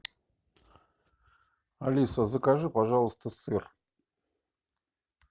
алиса закажи пожалуйста сыр